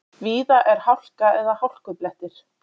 Víða er hálka eða hálkublettir